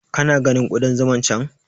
Ka na ganin Ƙudan zuman can?